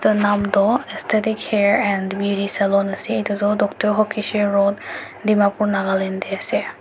Etu naam tuh Aesthetic Hair And Beauty Salon ase etu tuh Dr Hokishe road dimapur nagaland dae ase.